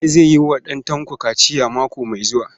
Bala zai yi wa ɗan Tanko kaciya mako mai zuwa.